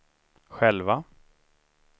själva